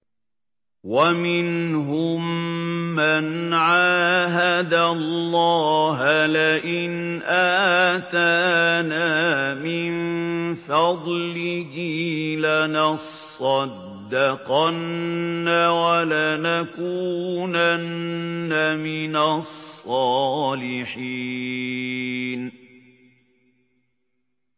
۞ وَمِنْهُم مَّنْ عَاهَدَ اللَّهَ لَئِنْ آتَانَا مِن فَضْلِهِ لَنَصَّدَّقَنَّ وَلَنَكُونَنَّ مِنَ الصَّالِحِينَ